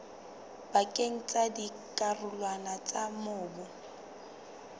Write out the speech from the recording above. pakeng tsa dikarolwana tsa mobu